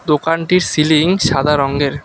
দোকানটির সিলিং সাদা রঙ্গের ।